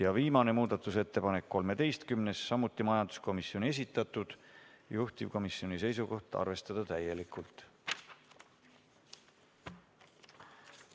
Ja viimane muudatusettepanek, 13., samuti majanduskomisjoni esitatud, juhtivkomisjoni seisukoht: arvestada täielikult.